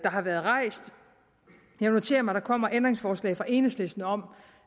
har været rejst jeg noterer mig at der kommer ændringsforslag fra enhedslisten om